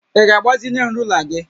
Ị ga-agbazinye m onye rula gị?